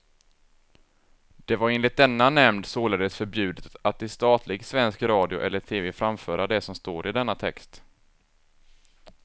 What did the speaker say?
Det var enligt denna nämnd således förbjudet att i statlig svensk radio eller tv framföra det som står i denna text.